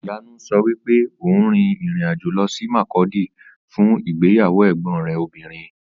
Ìyanu sọ wípé òun rin ìrìn-àjò lọ sí Makurdi fún ìgbéyàwó ẹ̀gbọn rẹ̀ obìnrin.